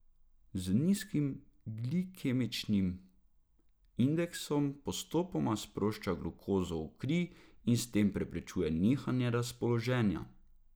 Z nizkim glikemičnim indeksom postopoma sprošča glukozo v kri in s tem preprečuje nihanje razpoloženja.